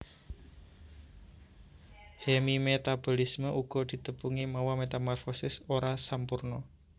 Hemimetabolisme uga ditepungi mawa metamorfosis ora sampurna